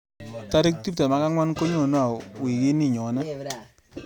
Tarik tuptem ak angwan konyone au wiikini nyone